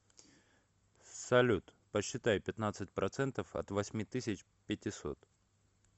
салют посчитай пятнадцать процентов от восьми тысяч пятисот